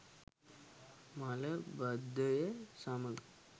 මල බද්ධය සමග